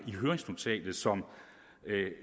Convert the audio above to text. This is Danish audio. såsom